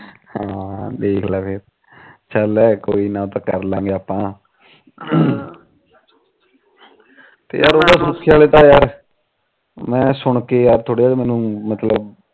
ਹਾ ਦੇਖਲਾ ਫਿਰ ਚੱਲ ਕੋਈ ਨਾ ਕਰਲਾਗੇ ਆਪਾ ਤੇ ਯਾਰ ਸੁਖੇ ਆਲਾ ਤਾ ਸੁਣ ਕੇ